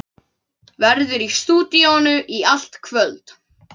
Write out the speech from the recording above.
Verður í stúdíóinu í allt kvöld.